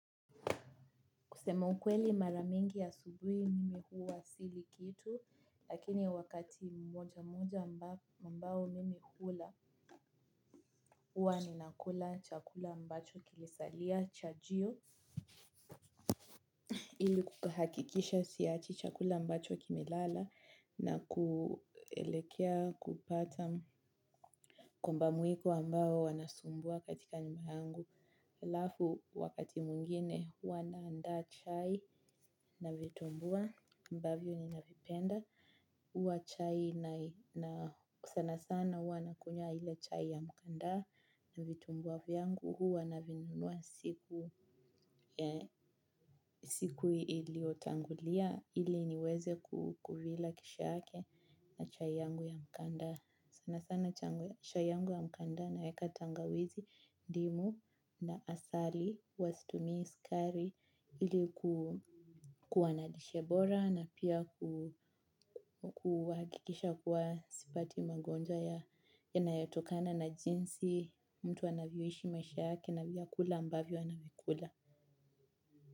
Kusema ukweli maramingi asubui mimi huwa sili kitu, lakini wakati mmoja mmoja ambao mimi hula huwa ni nakula chakula ambacho kilisalia chajio. Ili kuhakikisha siachi chakula ambacho kimelala na kuelekea kupata komba mwiko ambao wanasumbua katika nyumba yangu. Lafu wakati mungine huwa naanda chai na vitumbua ambavyo ninavipenda. Huwa chai na sana sana huwa nakunywa ile chai ya mkandaa na vitumbua vyangu huwa navinunua siku iliotangulia ili niweze kukuvila kesho yake na chai yangu ya mkandaa. Sana sana chai yangu ya mkandaa naeka tangawizi ndimu na asali huwa situmii sikari ilikuwa na lishe bora na pia kuakikisha kuwa sipati magonjwa ya ya nayatokana na jinsi mtu anavyoishi maishake na vyakula ambavyo anavikula.